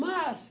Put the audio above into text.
Mas...